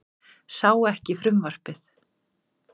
Sá ekki frumvarpið